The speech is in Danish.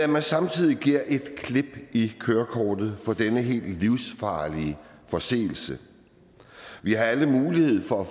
men samtidig giver et klip i kørekortet for denne helt livsfarlige forseelse vi har alle mulighed for at